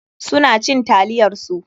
Su na cin taliyar su.